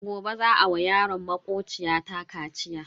Gobe za a wa yaron makociya ta kaciya.